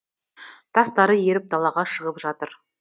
тастары еріп далаға шығып жатыр